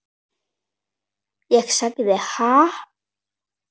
Ég sagði: Ha?